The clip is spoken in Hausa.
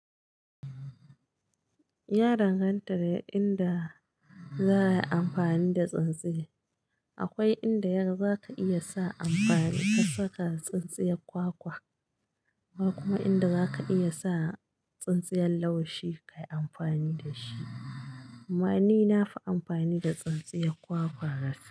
Ya danganta da inda za a yi amfani da tsintsiya. Akwai inda yaga, zaka iya sa amfani ka saka tsintsiyar kwakwa, akwai kuma inda zaka iya sa tsintsiyar laushi ka yi amfani da shi. Amma ni na fi amfani da tsintsiyar kwakwa gaskiya.